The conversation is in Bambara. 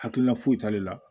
Hakilina foyi t'ale la